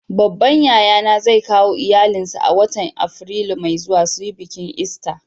Babban yaya na zai kawo iyallin sa a'watan Afrilu mai zuwa su yi biki lsta.